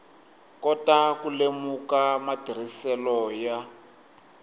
kota ku lemuka matirhiselo ya